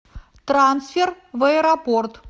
трансфер в аэропорт